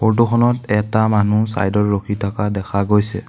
Photo খনত এটা মানুহ চাইডৰ ৰখি থকা দেখা গৈছে।